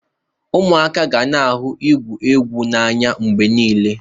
Ụmụaka ga-na ahụ igwụ egwụ n'anya mgbe niile.